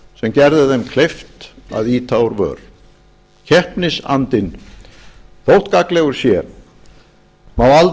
gerði þeim kleift að ýta úr vör keppnisandinn þótt gagnlegur sé má